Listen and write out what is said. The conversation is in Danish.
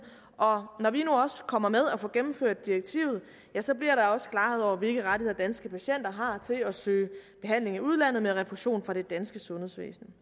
og når vi nu også kommer med og får gennemført direktivet ja så bliver der også klarhed over hvilke rettigheder danske patienter har til at søge behandling i udlandet med refusion fra det danske sundhedsvæsen